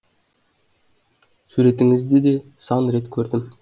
суретіңізді де сан рет көрдім